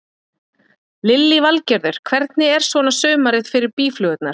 Lillý Valgerður: Hvernig er svona sumarið fyrir býflugurnar?